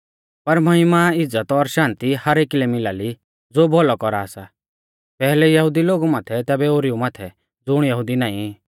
पर महिमा इज़्ज़त और शान्ति हर एकी लै मिला ली ज़ो भौलौ कौरा सा पैहलै यहुदी लोगु माथै तैबै ओरीऊ माथै ज़ुण यहुदी नाईं